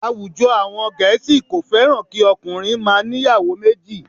Àwùjọ àwọn Gẹ̀ẹ́sì kò fẹ́ràn kí okùnrin máa ń ìyàwó méjì